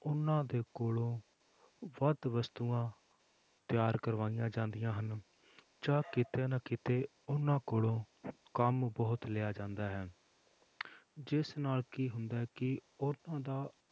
ਉਹਨਾਂ ਦੇ ਕੋਲੋਂ ਵੱਧ ਵਸਤੂਆਂ ਤਿਆਰ ਕਰਵਾਈਆਂ ਜਾਂਦੀਆਂ ਹਨ, ਜਾਂ ਕਿਤੇ ਨਾ ਕਿਤੇ ਉਹਨਾਂ ਕੋਲੋਂ ਕੰਮ ਬਹੁਤ ਲਿਆ ਜਾਂਦਾ ਹੈ ਜਿਸ ਨਾਲ ਕੀ ਹੁੰਦਾ ਹੈ ਕਿ ਉਹਨਾਂ ਦਾ